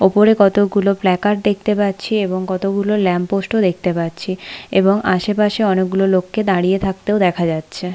উপরে কতগুলো ফ্ল্যাকার দেখতে পাচ্ছি এবং কতগুলো ল্যাম্প পোস্ট ও দেখতে পাচ্ছি এবং আশেপাশে অনেকগুলো লোককে দাঁড়িয়ে থাকতেও দেখা যাচ্ছে।